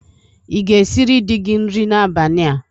Ị ga esịrị dị gi nri n'abania?